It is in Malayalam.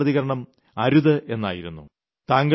എന്നാൽ ആദ്യ പ്രതികരണം അരുത് എന്നായിരുന്നു